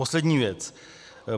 Poslední věc.